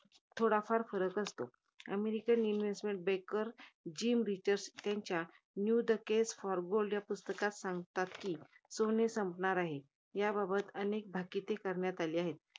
थोडाफार फरक असतो. American investment banker James Rickards यां~ त्यांच्या new the case for gold या पुस्तकात सांगतात कि, सोने संपणार आहे. याबाबत अनेक भाकिते करण्यात आली आहेत.